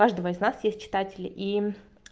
каждого из нас есть читатели и